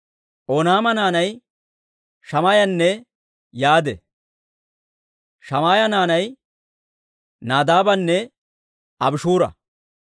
Oonaama naanay Shammaayanne Yaade. Shammaaya naanay Nadaabanne Abishuura.